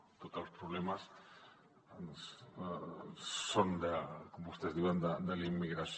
no tots els problemes són com vostès diuen de la immigració